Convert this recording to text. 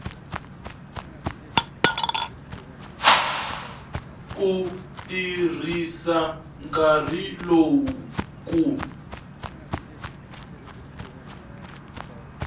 ku tirhisa nkarhi lowu ku